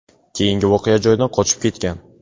keyin voqea joyidan qochib ketgan.